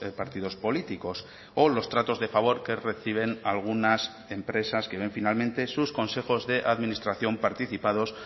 partidos políticos o los tratos de favor que reciben algunas empresas que ven finalmente sus consejos de administración participados